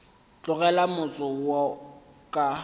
go tlogela motse wo ka